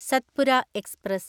Satpura express